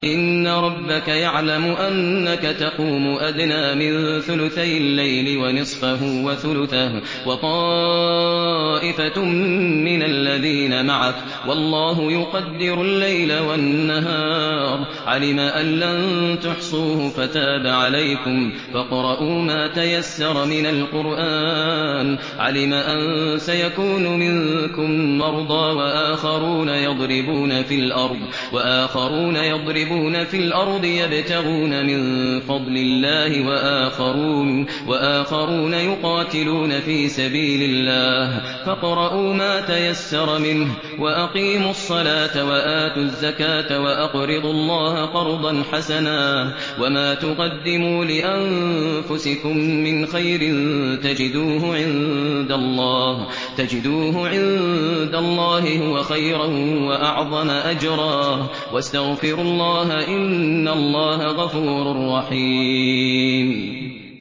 ۞ إِنَّ رَبَّكَ يَعْلَمُ أَنَّكَ تَقُومُ أَدْنَىٰ مِن ثُلُثَيِ اللَّيْلِ وَنِصْفَهُ وَثُلُثَهُ وَطَائِفَةٌ مِّنَ الَّذِينَ مَعَكَ ۚ وَاللَّهُ يُقَدِّرُ اللَّيْلَ وَالنَّهَارَ ۚ عَلِمَ أَن لَّن تُحْصُوهُ فَتَابَ عَلَيْكُمْ ۖ فَاقْرَءُوا مَا تَيَسَّرَ مِنَ الْقُرْآنِ ۚ عَلِمَ أَن سَيَكُونُ مِنكُم مَّرْضَىٰ ۙ وَآخَرُونَ يَضْرِبُونَ فِي الْأَرْضِ يَبْتَغُونَ مِن فَضْلِ اللَّهِ ۙ وَآخَرُونَ يُقَاتِلُونَ فِي سَبِيلِ اللَّهِ ۖ فَاقْرَءُوا مَا تَيَسَّرَ مِنْهُ ۚ وَأَقِيمُوا الصَّلَاةَ وَآتُوا الزَّكَاةَ وَأَقْرِضُوا اللَّهَ قَرْضًا حَسَنًا ۚ وَمَا تُقَدِّمُوا لِأَنفُسِكُم مِّنْ خَيْرٍ تَجِدُوهُ عِندَ اللَّهِ هُوَ خَيْرًا وَأَعْظَمَ أَجْرًا ۚ وَاسْتَغْفِرُوا اللَّهَ ۖ إِنَّ اللَّهَ غَفُورٌ رَّحِيمٌ